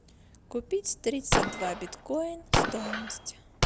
купить тридцать два биткоин стоимость